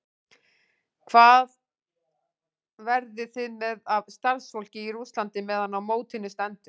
Hvað verðið þið með af starfsfólki í Rússlandi meðan á mótinu stendur?